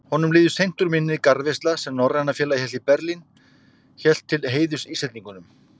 Honum líður seint úr minni garðveisla, sem Norræna félagið í Berlín hélt til heiðurs Íslendingunum.